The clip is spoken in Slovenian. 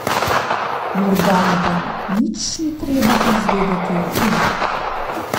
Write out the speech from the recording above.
Morda mu pa nič ni treba izvedeti o tem?